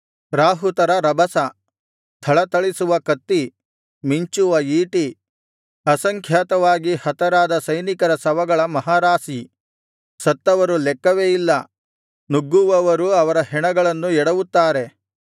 ರಾಹುತರ ರಭಸ ಥಳಥಳಿಸುವ ಕತ್ತಿ ಮಿಂಚುವ ಈಟಿ ಅಸಂಖ್ಯಾತವಾಗಿ ಹತರಾದ ಸೈನಿಕರ ಶವಗಳ ಮಹಾರಾಶಿ ಸತ್ತವರು ಲೆಕ್ಕವೇ ಇಲ್ಲ ನುಗ್ಗುವವರು ಅವರ ಹೆಣಗಳನ್ನು ಎಡವುತ್ತಾರೆ